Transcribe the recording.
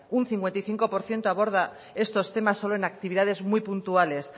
un cincuenta y cinco por ciento aborda estos temas solo en actividades muy puntuales